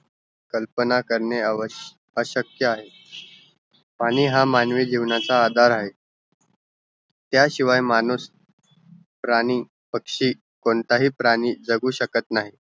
कल्पना करणे अवस्य अशक्य आहे पाणी हा मानवी जीवनाचा आदार आहे त्याशिवाय माणूस प्राणी पक्षी कोणताही प्राणी जगू शकत नाही